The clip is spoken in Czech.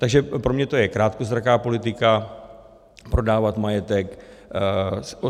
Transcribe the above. Takže pro mě je to krátkozraká politika, prodávat majetek.